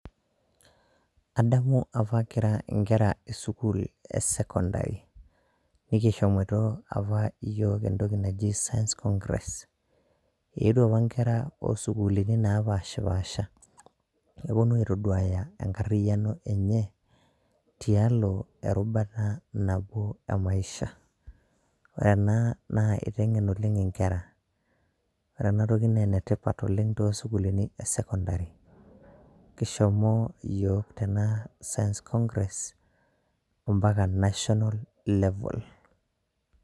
Adamu apa Kira nkera, esukuul esekondary nikishomoito apa iyiok entoki naji science congress eetuo apa inkera ooh sukuuluni naapashpasha nepuonu aiitoduaya enkariyano enye tialo erubata napuo e maisha. Ore ena naa kiteng'en oleng' nkera ore ena toki naa enetipat oleng' toosukuuluni esekondary kishomo yiok ena science congress mpaka National level